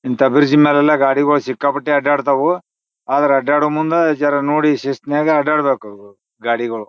ಇಂಥ ಬ್ರಿಡ್ಜ್ ಮ್ಯಾಲ ಎಲ್ಲ ಗಾಡಿಗೊಳ್ ಶಿಕ್ಕಾಪಟ್ಟೆ ಆಡಾಡ್ತವೋ ಅದ್ರ ಆಡದೋ ಮುಂದ ಜರ ನೋಡಿ ಶಿಸ್ತ್ನಾಗ್ ಆಡಾಡ್ಬೇಕು ಅವು ಗಾಡಿಗೊಳ್--